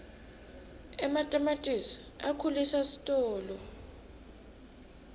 ematamatisi akhulisa sitolo